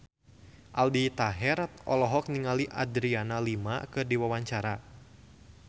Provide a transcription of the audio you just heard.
Aldi Taher olohok ningali Adriana Lima keur diwawancara